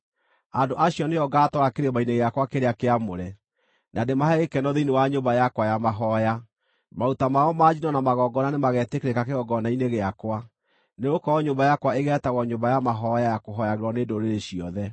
andũ acio nĩo ngaatwara kĩrĩma-inĩ gĩakwa kĩrĩa kĩamũre, na ndĩmahe gĩkeno thĩinĩ wa nyũmba yakwa ya mahooya. Maruta mao ma njino na magongona nĩmagetĩkĩrĩka kĩgongona-inĩ gĩakwa; nĩgũkorwo nyũmba yakwa ĩgeetagwo nyũmba ya mahooya ya kũhooyagĩrwo nĩ ndũrĩrĩ ciothe.”